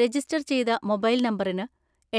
register ചെയ്ത mobile നമ്പറിന്